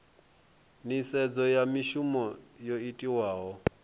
nisedzo ya mishumo yo itiwaho